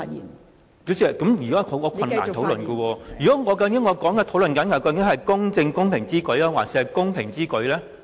代理主席，這樣我很難討論下去，究竟我應該討論"公正公平之舉"，還是"公平之舉"呢？